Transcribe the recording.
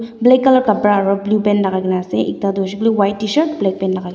black color kapra aro blue pant lagaigina ase ekta huishe koi le white tshirt black pant lagai--